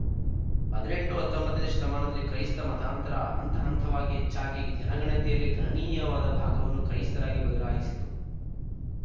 ಹದಿನೆಂಟು ಹತ್ತೊಂಬತ್ತನೇ ಶತಮಾನದಲ್ಲಿ ಕ್ರೈಸ್ತ ಮತಾಂತರ ಹಂತಹಂತವಾಗಿ ಹೆಚ್ಚಾಗಿ ಜನಗಣತಿಯಲ್ಲಿ ಗಣನೀಯವಾದ ಭಾಗವನ್ನು ಕ್ರೈಸ್ತರಾಗಿ ಬದಲಾಯಿಸಿತು